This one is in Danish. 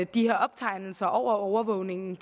de her optegnelser over overvågningen